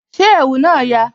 Ṣé ẹ̀wù náà yà?